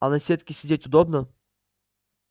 а на сетке сидеть удобно